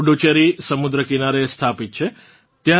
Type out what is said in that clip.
પુડુચેરી સમુદ્ર કિનારે સ્થાપિત છે